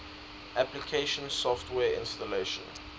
application software installation